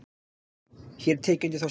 Hér er tekið undir þá skýringu.